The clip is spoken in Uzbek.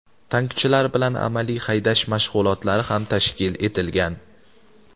Tankchilar bilan amaliy haydash mashg‘ulotlari ham tashkil etilgan.